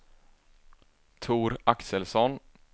Tor Axelsson